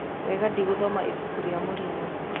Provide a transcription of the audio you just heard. Wenga: Ndigũthoma ibuku rĩa Morinyo